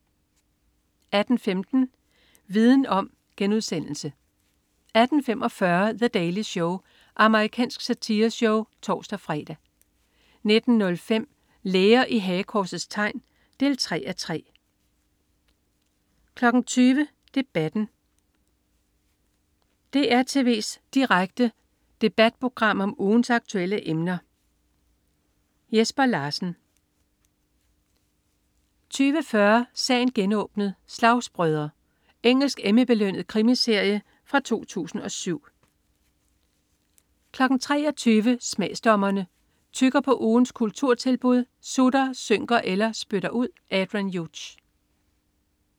18.15 Viden om* 18.45 The Daily Show. Amerikansk satireshow (tors-fre) 19.05 Læger i hagekorsets tegn 3:3 20.00 Debatten. DR tv's direkte debatprogram om ugens aktuelle emner. Jesper Larsen 20.40 Sagen genåbnet: Slagsbrødre. Engelsk Emmy-belønnet krimiserie fra 2007 23.00 Smagsdommerne. Tygger på ugens kulturtilbud, sutter, synker eller spytter ud. Adrian Hughes